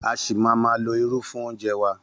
A ṣì máa ma lo irú fún oúnjẹ wa.